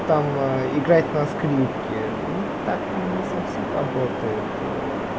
ну там играть на скрипке ну так не совсем работает ээ